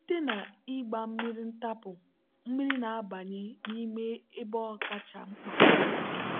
site na ịgba mmiri ntapu mmiri na-abanye n'ime ebe ọ kacha mkpa.